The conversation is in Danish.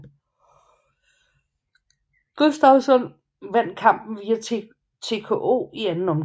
Gustafsson vandt kampen via TKO i anden omgang